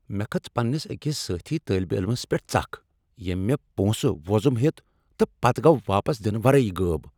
مےٚ کھژ پننس أکس سٲتھی طٲلب علمس پیٹھ ژکھ ییٚمۍ مےٚ پونٛسہٕ وۄزم ہیٚتۍ تہٕ پتہٕ گوٚو واپس دنہٕ ورٲے غٲب۔